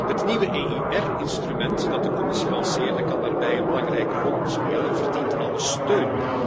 Het nieuwe EIR instrument dat de Commissie lanceerde, kan daarbij een belangrijke rol spelen en verdient alle steun.